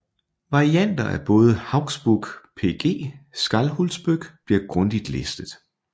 Varianter fra både Hauksbók pg Skálholtsbók bliver grundigt listet